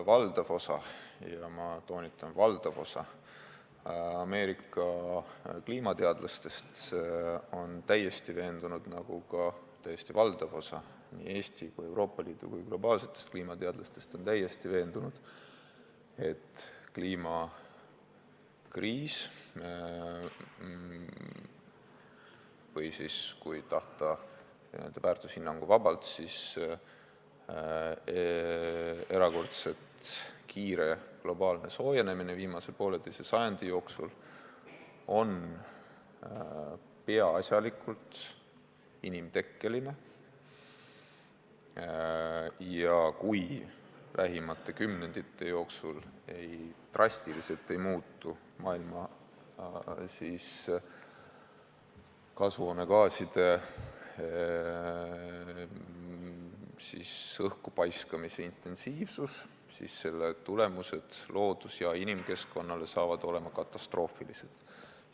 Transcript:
Valdav osa, ma toonitan, valdav osa Ameerika kliimateadlastest on täiesti veendunud, nagu ka täiesti valdav osa nii Eesti kui ka Euroopa Liidu globaalsetest kliimateadlastest on täiesti veendunud, et kliimakriis on peaasjalikult inimtekkeline ja kui lähimate kümnendite jooksul drastiliselt ei muutu maailmas kasvuhoonegaaside õhku paiskamise intensiivsus, siis selle tagajärjed loodus- ja inimkeskkonnale on katastroofilised.